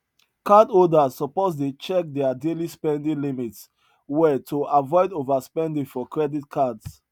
cardholders suppose dey check dia daily spending limits well to avoid overspending for credit cards